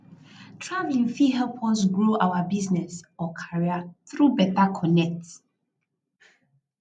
travelling fit help us grow our business or career through beta connect